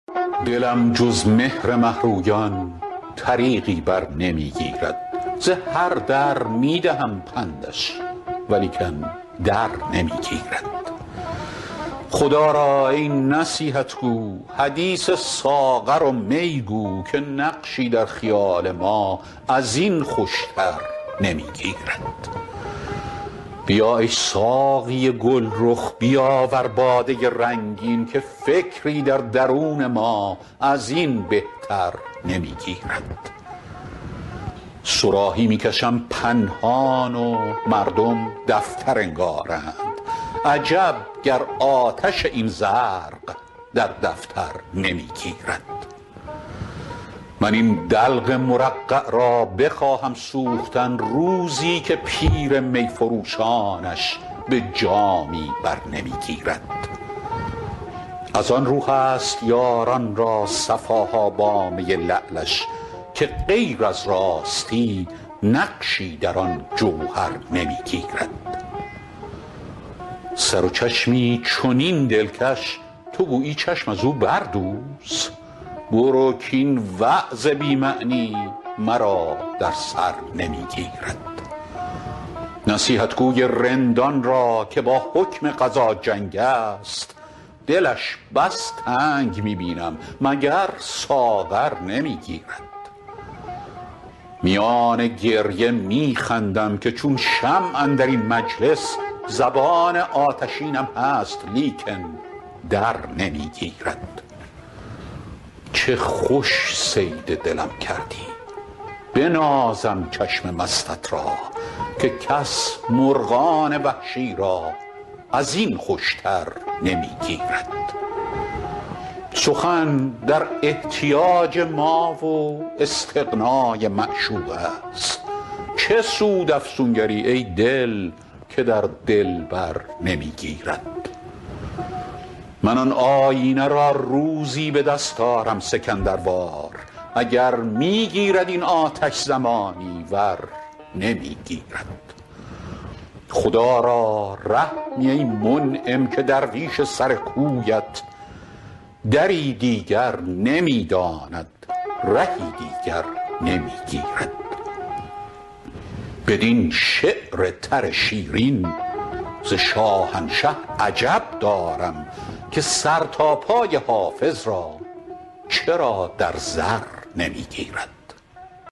دلم جز مهر مه رویان طریقی بر نمی گیرد ز هر در می دهم پندش ولیکن در نمی گیرد خدا را ای نصیحت گو حدیث ساغر و می گو که نقشی در خیال ما از این خوش تر نمی گیرد بیا ای ساقی گل رخ بیاور باده رنگین که فکری در درون ما از این بهتر نمی گیرد صراحی می کشم پنهان و مردم دفتر انگارند عجب گر آتش این زرق در دفتر نمی گیرد من این دلق مرقع را بخواهم سوختن روزی که پیر می فروشانش به جامی بر نمی گیرد از آن رو هست یاران را صفا ها با می لعلش که غیر از راستی نقشی در آن جوهر نمی گیرد سر و چشمی چنین دلکش تو گویی چشم از او بردوز برو کاین وعظ بی معنی مرا در سر نمی گیرد نصیحتگو ی رندان را که با حکم قضا جنگ است دلش بس تنگ می بینم مگر ساغر نمی گیرد میان گریه می خندم که چون شمع اندر این مجلس زبان آتشینم هست لیکن در نمی گیرد چه خوش صید دلم کردی بنازم چشم مستت را که کس مرغان وحشی را از این خوش تر نمی گیرد سخن در احتیاج ما و استغنا ی معشوق است چه سود افسونگر ی ای دل که در دلبر نمی گیرد من آن آیینه را روزی به دست آرم سکندر وار اگر می گیرد این آتش زمانی ور نمی گیرد خدا را رحمی ای منعم که درویش سر کویت دری دیگر نمی داند رهی دیگر نمی گیرد بدین شعر تر شیرین ز شاهنشه عجب دارم که سر تا پای حافظ را چرا در زر نمی گیرد